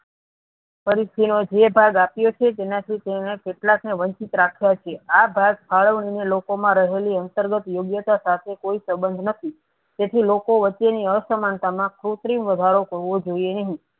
પરિસ્થિતિ જે ભાગ આપ્યો છે જેનાથી કેટલાક ને વંશીત રાખ્યા છે આ ભાગ ફાળવીને લોકો માં રહેલી અંતર્ગત યોગ્યતા સાથે કોઈ સબંધ નથી તેથી લોકો વચ્ચે ની અસમાનતા ખુબ વધારો થવો જોઈ નહિ.